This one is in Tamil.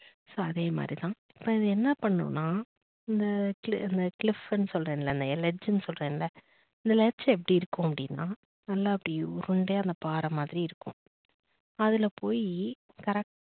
so அதே மாதிரி தான் இப்ப அது என்ன பண்ணுனா இந்த cliff சொல்றேன்ல சொல்றேன்ல இந்த letch எப்படி இருக்கும் அப்படின்னா நல்லா அப்படி உருண்டையா பார மாதிரி இருக்கும் அதுல போய் correct க்டா